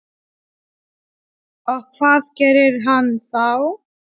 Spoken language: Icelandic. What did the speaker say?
Og hvað gerir hann þá?